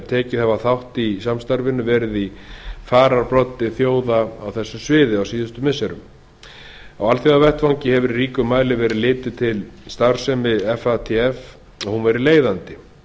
tekið hafa þátt í fatf samstarfinu verið í fararbroddi þjóða á þessu sviði á alþjóðavettvangi hefur í ríkum mæli verið litið til starfsemi fatf og hún verið leiðandi